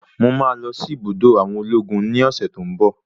Mo máa lọsí ibùdó àwọn ológun ní ọ̀sẹ̀ tí ń bọ̀.